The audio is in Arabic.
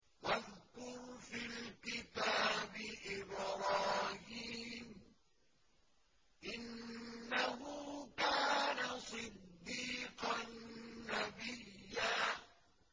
وَاذْكُرْ فِي الْكِتَابِ إِبْرَاهِيمَ ۚ إِنَّهُ كَانَ صِدِّيقًا نَّبِيًّا